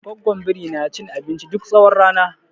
Goggon biri na cin abinci duk tsawon rana.